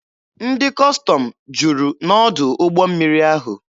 Ndị Kọstọm juru n'ọdụ ụgbọ mmiri ahụ.